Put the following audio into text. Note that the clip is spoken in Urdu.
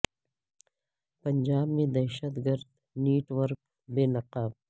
پنجاب میں دہشت گر د نیٹ ورک بے نقاب